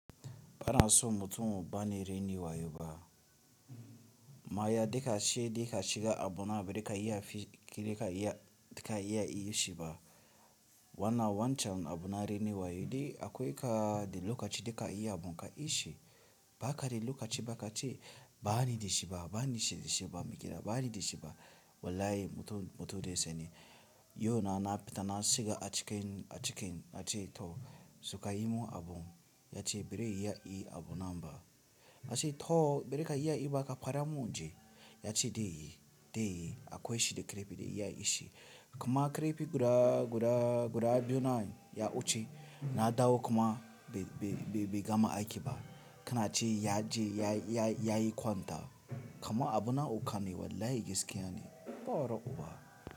Ba na so mutum ba ne reni wayoba. Maya de ka she de ka shiga abuna ba de ka iya fi kile ka iya de ka iya iya shi ba. Wana wancan abuna reni wayo dai akwai ka de lokaci de ka iya abun ka ishe. Ba ka de lokaci ba ka ce ba ni de shi ba, ba ni she de shi ba mai gida ba ni de shi ba. Wallahi mutum mutum de sene. Yau na na pita na siga a cikin a cikin ace to suka yimo abun ya ce bere iya i abunamba. Nace to bere ka iya yi ba ka fada mun ji ya ce dai dai akwai shi de karfi de iya ishi. Kuma karfi guda guda guda biyu nan ya wuce na dawo kuma be be be gama aiki ba. Kana ace ya je ya ya yi kwanta. Kaman abuna hauka ne wallahi gaskiya ne ba oro uba.